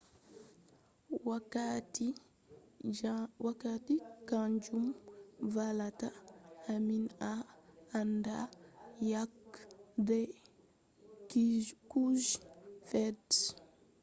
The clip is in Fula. wakkati kanjum vallata ammin en anda yake dai kuje fe'i juutugo